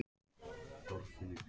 Ný saga af Adam.